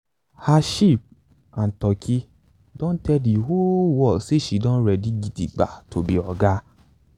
her sheep and turkey don tell the whole world say she don ready gidigba to be oga.